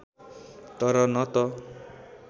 तर न त